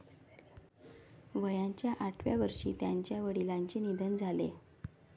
वयाच्या आठव्या वर्षी त्यांच्या वडिलांचे निधन झाले.